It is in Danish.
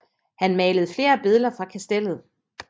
Han malede flere billeder fra kastellet